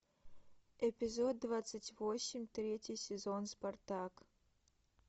эпизод двадцать восемь третий сезон спартак